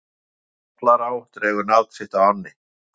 Bærinn Ballará dregur nafn sitt af ánni.